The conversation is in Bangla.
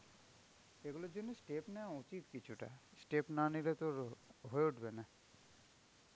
সেই গুলোর জন্য step নেয়া উচিত কিছুটা. Step না নিলে তো হয়ে উঠবে না.